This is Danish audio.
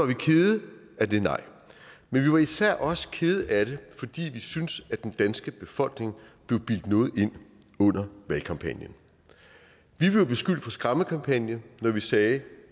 vi kede af det nej men vi var især også kede af det fordi vi synes at den danske befolkning blev bildt noget ind under valgkampagnen vi blev beskyldt for skræmmekampagne når vi sagde